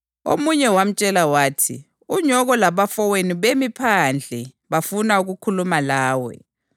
Omunye wamtshela wathi, “Unyoko labafowenu bemi phandle, bafuna ukukhuluma lawe.”